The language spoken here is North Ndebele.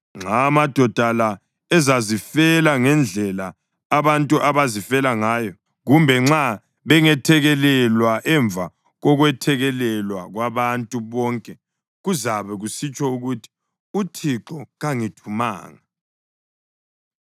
Nxa amadoda la ezazifela ngendlela abantu abazifela ngayo, kumbe nxa bengethekelelwa emva kokwethekelela kwabantu bonke kuzabe kusitsho ukuthi uThixo kangithumanga.